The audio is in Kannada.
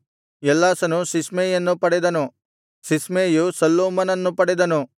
ಎಲ್ಲಾಸನು ಸಿಸ್ಮೈಯನ್ನು ಪಡೆದನು ಸಿಸ್ಮೈಯು ಶಲ್ಲೂಮನನ್ನು ಪಡೆದನು